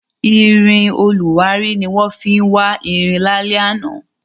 Irin olùwárí ni wọ́n fi wá irin lálẹ́ àná.